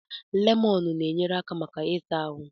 Lemọnụ na-enyere aka maka ị ta ahụ.